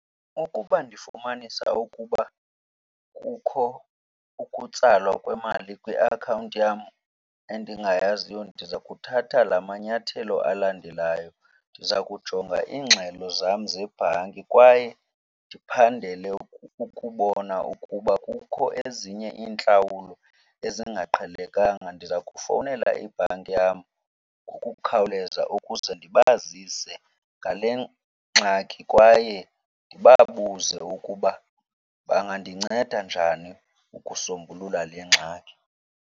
Ukuba ndifumanisa ukuba kukho ukutsalwa kwemali kwiakhawunti yam endingayaziyo, ndiza kuthatha la manyathelo alandelayo. Ndiza kujonga iingxelo zam zebhanki kwaye ndiphandele ukubona. Ukuba kukho ezinye iintlawulo ezingaqhelekanga, ndiza kufowunela ibhanki yam ngokukhawuleza ukuze ndibazise ngale ngxaki kwaye ndibabuze ukuba bangandinceda njani ukusombulula le ngxaki.